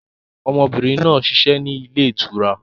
Ọmọbìnrin náà ń ṣiṣẹ́ ni ilé ìtura.